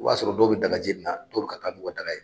O b'a sɔrɔ dɔw bɛ daga jeninna dɔw bɛ ka taa nu ka daga ye.